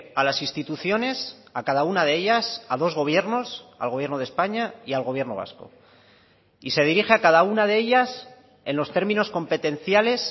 a las instituciones a cada una de ellas a dos gobiernos al gobierno de españa y al gobierno vasco y se dirige a cada una de ellas en los términos competenciales